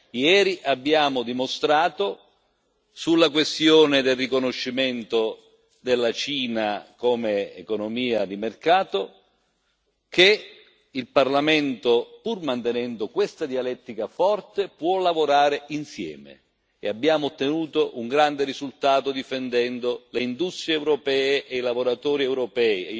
Ieri abbiamo dimostrato, sulla questione del riconoscimento della Cina come economia di mercato, che il Parlamento, pur mantenendo questa dialettica forte, può lavorare insieme e abbiamo ottenuto un grande risultato, difendendo le industrie europee e i lavoratori europei.